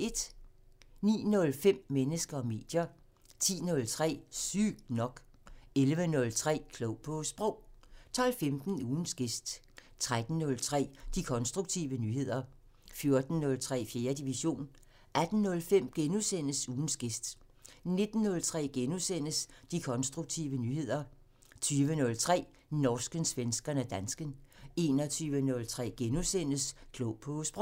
09:05: Mennesker og medier 10:03: Sygt nok 11:03: Klog på Sprog 12:15: Ugens gæst 13:03: De konstruktive nyheder 14:03: 4. division 18:05: Ugens gæst * 19:03: De konstruktive nyheder * 20:03: Norsken, svensken og dansken 21:03: Klog på Sprog *